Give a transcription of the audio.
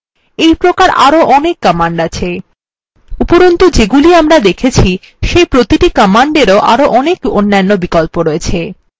এইপ্রকার আরো অনেক commands আছে উপরন্তু যেগুলি আমরা দেখেছি সেই প্রতিটি কমান্ডেরও আরো অনেক অন্যান্য বিকল্প আছে